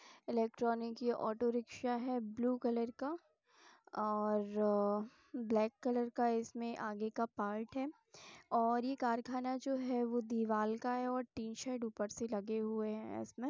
ये electronic auto rickshaw है blue colour का और ब्लैक कलर का | इसमें आगे का पार्ट है और ये कारखाना जो है वो तिवाल का है और टी-शेड ऊपर से लगे हुए हैं इसमें।